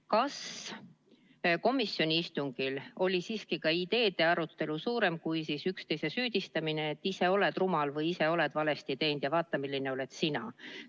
Kas komisjoni istungil oli siiski ka ideede arutelu suurem kui üksteise süüdistamine, et ise oled rumal või ise oled valesti teinud ja vaata, milline oled sina?